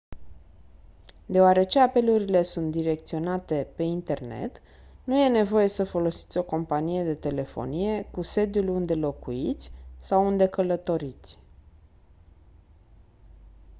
deoarece apelurile sunt direcționate pe internet nu e nevoie să folosiți o companie de telefonie cu sediul unde locuiți sau unde călătoriți